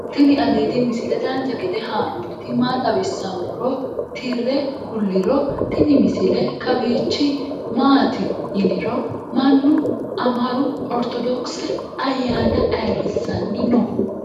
tini aliidi misile dancha gede haa'nooniti maa xawissannoro tire kulliro tini misile kawiichi maati yiniro mannu amaru ortodokise ayyana ayrisanni no